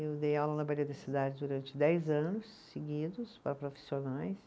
Eu dei aula na da Cidade durante dez anos seguidos para profissionais.